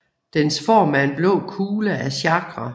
Dens form er en blå kugle af Chakra